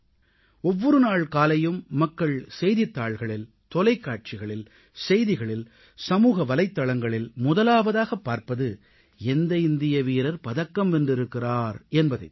ஒவ்வொரு நாள் காலையும் மக்கள் செய்தித்தாள்களில் தொலைக்காட்சிகளில் செய்திகளில் சமூக வலைத்தளங்களில் முதலாவதாக பார்ப்பது எந்த இந்திய வீரர் பதக்கம் வென்றிருக்கிறார் என்பதைத் தான்